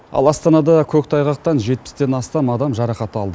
ал астанада көктайғақтан жетпістен астам адам жарақат алды